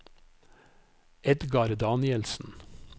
Edgar Danielsen